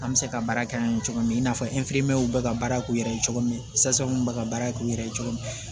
An bɛ se ka baara kɛ an ye cogo min i n'a fɔ bɛ ka baara k'u yɛrɛ ye cogo min bɛ ka baara kɛ u yɛrɛ ye cogo min